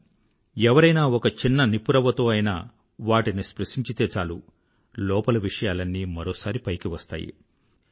కానీ ఎవరైనా ఒక చిన్న నిప్పు రవ్వతో అయినా వాటిని స్పృశించితే చాలు లోపలి విషయాలన్నీ మరోసారి పైకి వస్తాయి